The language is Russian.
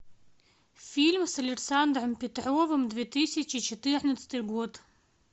фильм с александром петровым две тысячи четырнадцатый год